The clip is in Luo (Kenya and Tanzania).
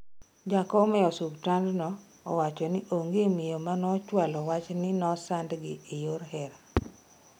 Jakom e osuptandno owacho ni onge miyo manochwalo wach ni nosandgi e yor hera